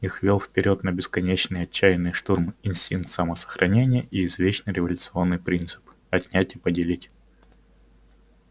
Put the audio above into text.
их вёл вперёд на бесконечный отчаянный штурм инстинкт самосохранения и извечный революционный принцип отнять и поделить